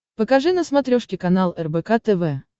покажи на смотрешке канал рбк тв